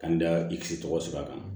Ka n da i kisi tɔgɔ sɛbɛ kan